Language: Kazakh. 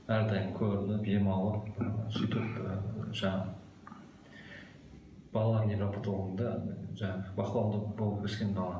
әрдайым көрініп ем алып сөйтіп ы жаңағы балалар невропатологында жаңағы бақылауында болып өскен бала